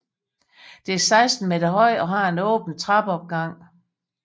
Det er 16 meter højt og har en åben trappeopgang